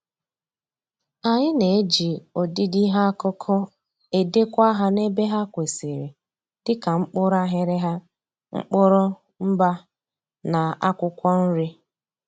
Anyị na-ejị ọdịdị ihe akụkụ edekwa ha n'ebe ha kwesịrị dịka mkpụrụ aghịrịgha, mkpụrụ, mba, na akwụkwọ nri